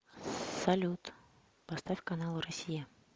салют поставь канал россия